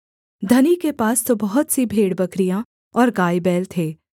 धनी के पास तो बहुत सी भेड़बकरियाँ और गाय बैल थे